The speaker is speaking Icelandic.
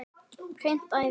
Hreint æði!